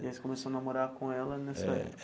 E aí você começou a namorar com ela nessa época?